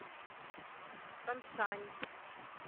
таншань